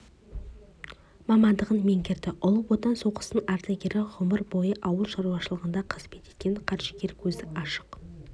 мамандығын меңгерді ұлы отан соғысының ардагері ғұмыр бойы ауыл шаруашылығында қызмет еткен қаржыгер көзі ашық